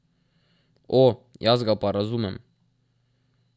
O, jaz ga pa razumem.